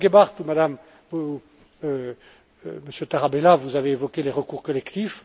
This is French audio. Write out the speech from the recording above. Madame Gebhardt ou Monsieur Tarabella, vous avez évoqué les recours collectifs.